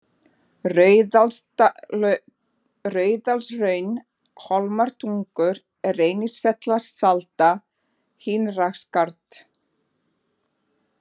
Hraundalshraun, Hólmatungur, Reynifellsalda, Innraskarð